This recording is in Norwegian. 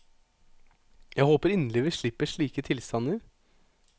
Jeg håper inderlig vi slipper slike tilstander.